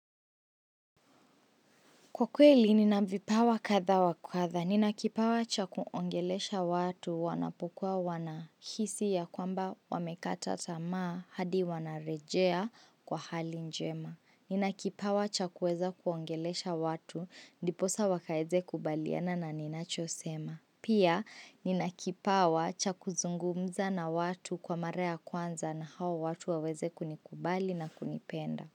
Kwa kweli, nina vipawa kadha wa kadha. Nina kipawa cha kuongelesha watu wanapokuwa wanahisi ya kwamba wamekata tamaa hadi wanarejea kwa hali njema. Nina kipawa cha kuweza kuongelesha watu, ndiposa wakaeze kubaliana na ninachosema. Pia, nina kipawa cha kuzungumza na watu kwa mara ya kwanza na hao watu waweze kunikubali na kunipenda.